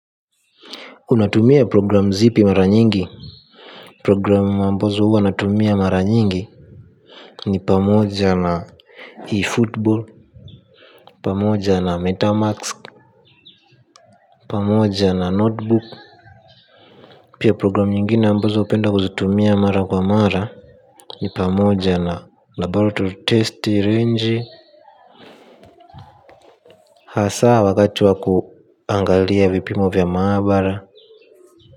Unatumia program zipi mara nyingi. Program ambazo huwa natumia mara nyingi. Ni pamoja na eFootball. Pamoja na Metamask. Pamoja na Notebook. Pia program nyingine ambazo upenda kuzitumia mara kwa mara. Ni pamoja na laboratory test range. Hasaa wakati wa kuangalia vipimo vya maabara.